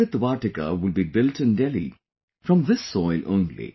Amrit Vatika will be built in Delhi from this soil only